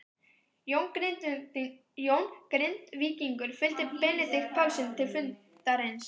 Jón Grindvíkingur fylgdi Benedikt Pálssyni til fundarins.